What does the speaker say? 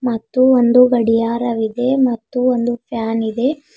ಮತ್ತು ಒಂದು ಗಡಿಯಾರವಿದೆ ಮತ್ತು ಒಂದು ಫ್ಯಾನ್ ಇದೆ.